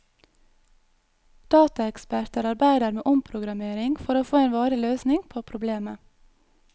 Dataeksperter arbeider med omprogrammering for å få en varig løsning på problemet.